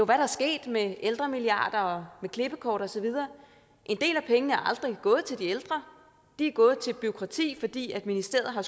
er der sket med ældremilliarder og med klippekort osv en del af pengene er aldrig gået til de ældre de er gået til bureaukrati fordi ministeriet har